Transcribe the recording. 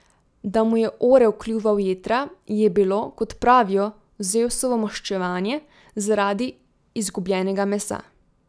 Da mu je orel kljuval jetra, je bilo, kot pravijo, Zevsovo maščevanje zaradi izgubljenega mesa.